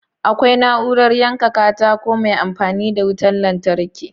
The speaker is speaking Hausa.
Akwai na'urar yanka katako mai amfani da wutar lantarki